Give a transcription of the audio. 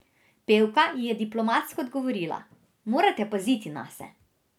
Pevka ji je diplomatsko odgovorila: 'Morate paziti nase.